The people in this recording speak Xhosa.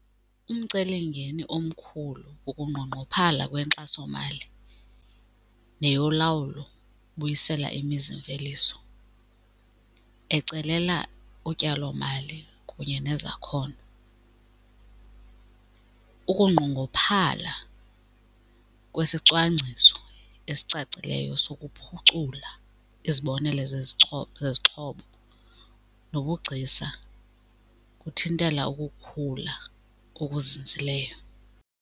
Umcelimngeni omkhulu kukunqongqophala kwenkxasomali neyolawulo ubuyisela imizimveliso ecelela utyalomali kunye nezakhono. Ukunqongophala kwesicwangciso esicacileyo sokuphucula izibonelelo zezixhobo nobugcisa kuthintela ukukhula okuzinzileyo.